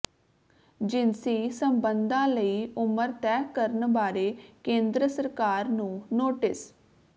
ਜਿਨਸੀ ਸਬੰਧਾਂ ਲਈ ਉਮਰ ਤੈਅ ਕਰਨ ਬਾਰੇ ਕੇਂਦਰ ਸਰਕਾਰ ਨੂੰ ਨੋਟਿਸ